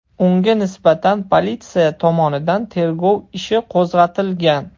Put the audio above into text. Unga nisbatan politsiya tomonidan tergov ishi qo‘zg‘atilgan.